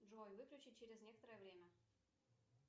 джой выключи через некоторое время